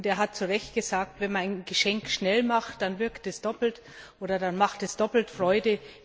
Er hat zu Recht gesagt Wenn man ein Geschenk schnell macht, dann wirkt es doppelt bzw. es macht doppelte Freude.